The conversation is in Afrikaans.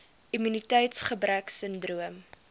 immuniteits gebrek sindroom